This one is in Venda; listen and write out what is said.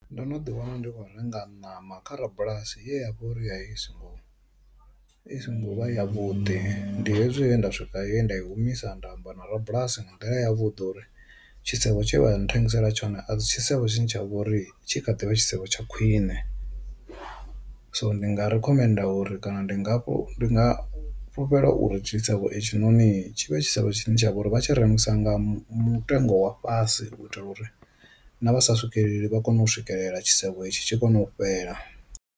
Ndo no ḓi wana ndi khou renga ṋama kha rabulasi ya vhori ya i songo i songo vha ya vhuḓi, ndi hezwi he nda swika ye nda i humisa nda amba na rabulasi nga nḓila ya vhuḓi uri tshisevho tshe vha nthengisela tshone a si tshisevho tshine tsha vhori tshi kha ḓivha tshisevho tsha khwine. So ndi nga ri khomenda uri kana ndi nga ndi nga fhulufhela uri ṱhisevho itshi noni tshi vhe tshisevho tshine tshavha uri vha tshi rengisa nga mutengo wa fhasi u itela uri na vha sa swikeleli vha kone u swikelela tshisevho tshi kone u fhela.